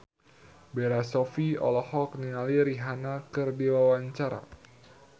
Bella Shofie olohok ningali Rihanna keur diwawancara